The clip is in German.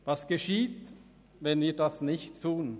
Was geschieht, wenn wir dies nicht tun?